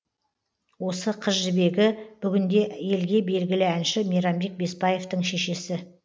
осы қызжібегі бүгінде елге белгілі әнші мейрамбек беспаевтың шешесі